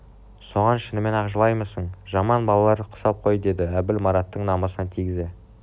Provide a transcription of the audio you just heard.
соған шынымен-ақ жылаймысың жаман балалар құсап қой деді әбіл мараттың намысына тигізе